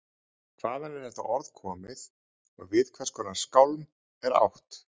Hvaðan er þetta orð komið og við hvers konar skálm er átt?